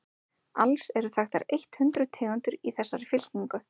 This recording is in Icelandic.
alls eru þekktar eitt hundruð tegundir í þessari fylkingu